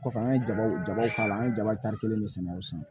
Kɔfɛ an ye jabaw jabaw k'a la an ye jaba kelen de sɛnɛ o san